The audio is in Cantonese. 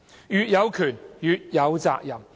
越有權，越有責任。